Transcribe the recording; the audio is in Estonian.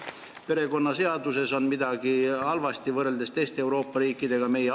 Kas perekonnaseaduses on midagi halvasti võrreldes teiste Euroopa riikidega?